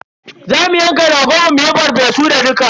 Za mu yanka ragon mu muyi farfesu da dukka.